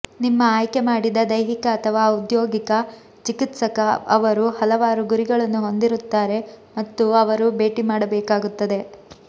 ನಿಮ್ಮ ಆಯ್ಕೆಮಾಡಿದ ದೈಹಿಕ ಅಥವಾ ಔದ್ಯೋಗಿಕ ಚಿಕಿತ್ಸಕ ಅವರು ಹಲವಾರು ಗುರಿಗಳನ್ನು ಹೊಂದಿರುತ್ತಾರೆ ಮತ್ತು ಅವರು ಭೇಟಿ ಮಾಡಬೇಕಾಗುತ್ತದೆ